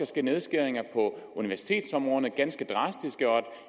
ske nedskæringer på universitetsområderne ganske drastiske